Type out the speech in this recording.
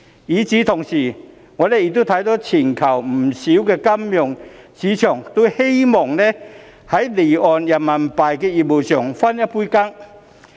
與此同時，我們亦看到全球不少金融市場都希望在離岸人民幣業務中分一杯羹。